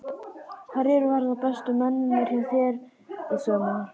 Hverjir verða bestu mennirnir hjá þér í sumar?